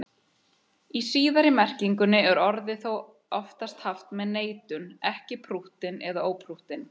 Í síðari merkingunni er orðið þó oftast haft með neitun, ekki prúttinn eða óprúttinn.